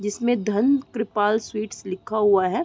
जिसमे धन कृपाल स्वीट्स लिखा हुआ है।